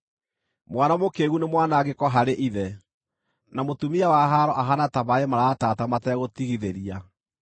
Mwana mũkĩĩgu nĩ mwanangĩko harĩ ithe, na mũtumia wa haaro ahaana ta maaĩ maratata mategũtigithĩria.